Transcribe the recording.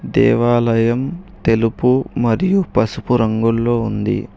దేవాలయం తెలుపు మరియు పసుపు రంగులో ఉంది.